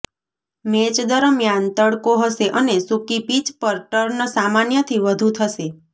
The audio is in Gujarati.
મેચ દરમિયાન તડકો હશે અને સુકી પિચ પર ટર્ન સામાન્યથી વધુ થશે